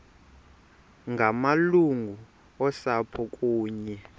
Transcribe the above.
ngamalungu osapho kunye